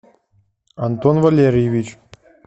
антон валерьевич